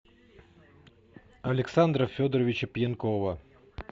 александра федоровича пьянкова